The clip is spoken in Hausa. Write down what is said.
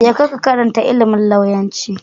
Je ka ka karantar ilimin lauyanci.